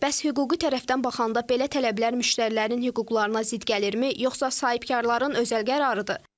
Bəs hüquqi tərəfdən baxanda belə tələblər müştərilərin hüquqlarına zidd gəlirmi, yoxsa sahibkarların özəl qərarıdır?